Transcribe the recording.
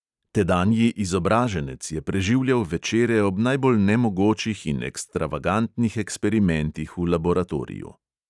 Tedanji izobraženec je preživljal večere ob najbolj nemogočih in ekstravagantnih eksperimentih v laboratoriju.